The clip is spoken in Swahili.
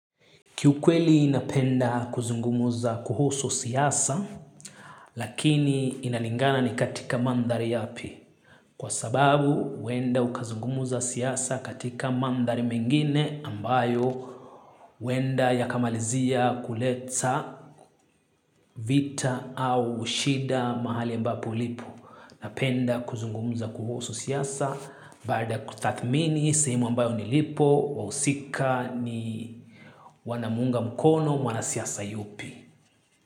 Kiukweli ninapenda kuzungumza kuhusu siasa, lakini inalingana ni katika mandhari yapi. Kwa sababu, huenda ukazungumza siasa katika mandhari mengine ambayo huenda yakamalizia kuleta vita au shida mahali ambapo ulipo. Napenda kuzungumza kuhusu siasa, baada ya kutathmini, sehemu ambayo nilipo, wahusika ni wanamuunga mkono, mwanasiasa yupi.